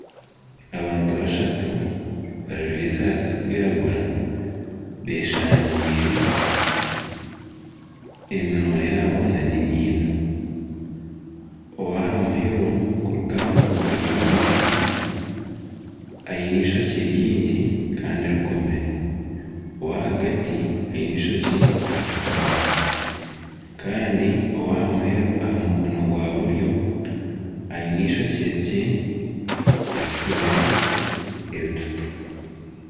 Abantu bashatu bajwaire esaati zirikwiragura beshangiire eminwa yaabo n'enyindo. Kwonka aha muheru kuruga aha mukono gwa bumosho aine eishokye ringi kandi rikomire. Ow'ahagati aine eishokye ritakomire. Kandi ow'aha muheru aha mukono gwa buryo aine eishokye rikye erisibire ebitutu.